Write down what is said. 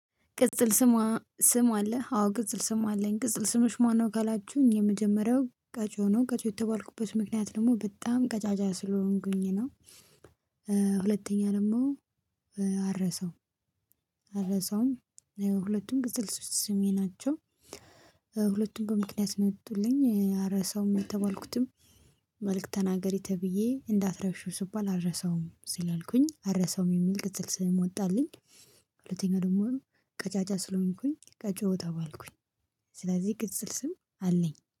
ቅጽል ስማ ስም አለህ አዎ ቅጽል ስም አለኝ ቅጽል ስሞች ማነው ካላችሁኝ የመጀመሪያው ቀጮ ነው። ቀጮ የተባልኩበት ምክንያት ደግሞ በጣም ቀጫጫ ስለሆንኩኝ ነው ሁለተኛ ደግሞ አልረሳውም አልረሳውም ሁለቱም ቅጽልል ስሜ ናቸው። ሁለቱም በምክንያት የወጡልኝ አረሳውም የተባልኩትም መልእክት ተናገሪ ተብዬ እንዳትረሽው ስባል አልረሳውም ስላልኩኝ አልረሳውም የሚል ቅጥል ስም ወጣልኝ ሁለተኛ ደግሞ ቀጫጫ ስለሆንኩኝ ቀጮ ተባልኩኝ ስለዚህ ቅጽል ስም አለኝ።